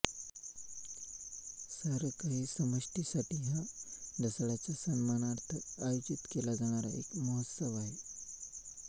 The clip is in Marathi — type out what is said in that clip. सारं काही समष्टीसाठी हा ढसाळांच्या सन्मानार्थ आयोजित केला जाणारा एक महोत्सव आहे